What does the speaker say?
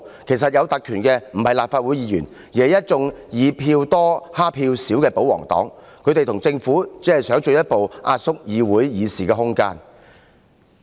其實有特權的不是立法會議員，而是一眾以票多欺負票少的保皇黨議員，他們和政府只是想進一步壓縮議會的議事空間。